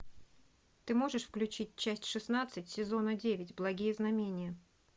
ты можешь включить часть шестнадцать сезона девять благие знамения